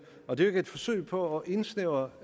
og det er jo ikke et forsøg på at indsnævre